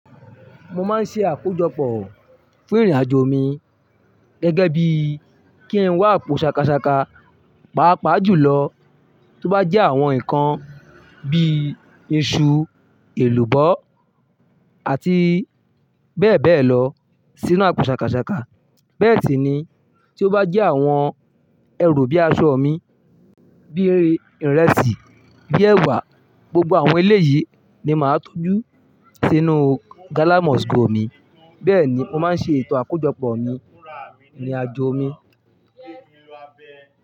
Mo máa ń ṣe àkójọpọ̀ fún ìrìnàjò mi gẹ́gẹ́ bí kí n wá po ṣakaṣaka, paapaa jùlọ tó bá jẹ́ àwọn nǹkan bí i iṣu, èlùbọ́ àti bẹ́ẹ̀ bẹ́ẹ̀ lọ sínú àpò ṣakaṣaka. Bẹ́ẹ̀ sì ni tó bá jẹ́ àwọn ẹrù bíi aṣọ ọmọ mi, bí i ìrẹsì, bíi ẹwà, gbogbo àwọn ilé yìí ni màá tó jú sínú ghana-must-go mi. Bẹ́ẹ̀ ni mo máa ń ṣe ìtàn àkójọpọ̀ mi ní ìrìnàjò mi.